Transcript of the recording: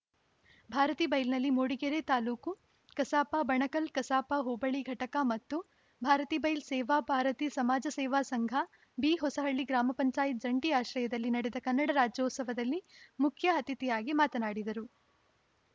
ಭಾರತೀ ಬೈಲ್‌ನಲ್ಲಿ ಮೂಡಿಗೆರೆ ತಾಲ್ಲೂಕು ಕಸಾಪ ಬಣಕಲ್‌ ಕಸಾಪ ಹೋಬಳಿ ಘಟಕ ಮತ್ತು ಭಾರತೀಬೈಲ್‌ ಸೇವಾ ಭಾರತಿ ಸಮಾಜ ಸೇವಾ ಸಂಘ ಬಿಹೊಸಹಳ್ಳಿ ಗ್ರಾಮ ಪಂಚಾಯತ್ ಜಂಟಿ ಆಶ್ರಯದಲ್ಲಿ ನಡೆದ ಕನ್ನಡ ರಾಜ್ಯೋತ್ಸವದಲ್ಲಿ ಮುಖ್ಯ ಅತಿಥಿಯಾಗಿ ಮಾತನಾಡಿದರು